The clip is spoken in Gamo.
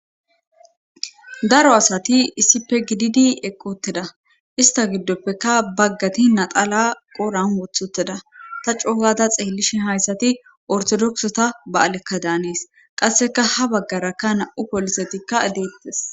daro asati issippe gididi eqqii uttida ista giddoppekka baggati naxala qoren woththi uttida ta coogada xeellishe hayssati ortodokiseta ba'alekka daanees qasseka ha baggarakka nam'u polisetikka deettes